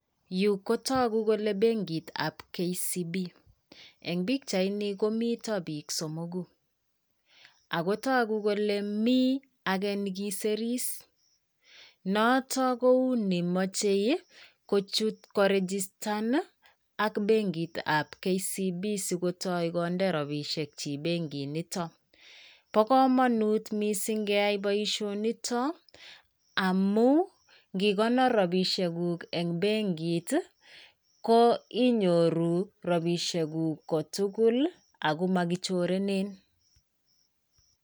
Yu kotogu kole benkitab KCB. Eng' pichaini komito biik somogu. Ago togu kole mi age nekisiris. Noton kou nemochei kochut koregistan ak benkitab KCB sikotoi konde rabisiekyik benkit niton. Bo komonut missing keyai boisionito amu ngikonor rabishekuk eng' benkit, ko inyoru rabisiekuk ko tugul ago makichorenen.